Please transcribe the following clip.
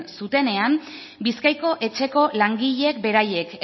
zutenean bizkaiko etxeko langileek beraiek